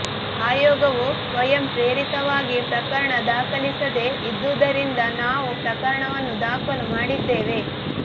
ಆಯೋಗವು ಸ್ವಯಂಪ್ರೇರಿತವಾಗಿ ಪ್ರಕರಣ ದಾಖಲಿಸದೆ ಇದ್ದುದರಿಂದ ನಾವು ಪ್ರಕರಣವನ್ನು ದಾಖಲು ಮಾಡಿದ್ದೇವೆ